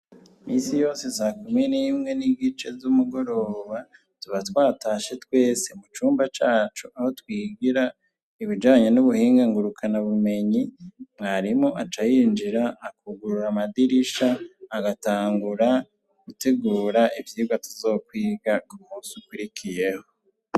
Iminsi yose sakumi n'imwe n'igice z'umugoroba tuba twatashe twese mu cumba cacu aho twigira ibijanye n'ubuhinga ngurukana bumenyi, mwarimu aca yinyira akugurura amadirisha agatangura gutegura ivyigwa tuzokwiga ku munsi ukurikiyeho.